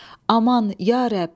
Aman ya rəbb.